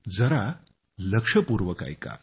जरा लक्षपूर्वक ऐका